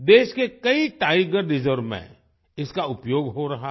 देश के कई टाइगर रिजर्व में इसका उपयोग हो रहा है